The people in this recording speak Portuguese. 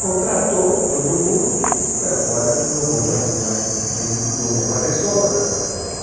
Contratou todo mundo, disse, bão, agora não vão fazer mais, nem, não vão fazer sombra para para a gente.